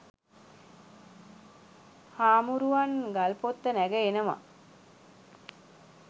හාමුරුවන් ගල්පොත්ත නැඟ එනවා